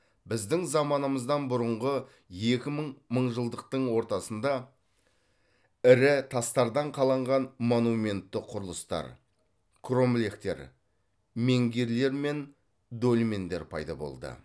біздің заманымыздан бұрынғы екі мың мыңжылдықтың ортасында ірі тастардан қаланған монументті құрылыстар кромлехтер менгирлер мен дольмендер пайда болды